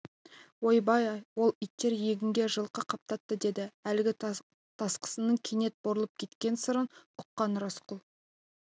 ой-бай ол иттер егінге жылқы қаптатты деді әлгі тасқынның кенет бұрылып кеткен сырын ұққан рысқұл